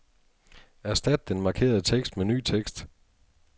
Erstat den markerede tekst med ny tekst.